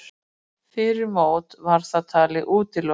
Fyrir mót var það talið útilokað.